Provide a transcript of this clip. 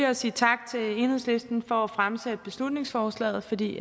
at sige tak til enhedslisten for at have fremsat beslutningsforslaget fordi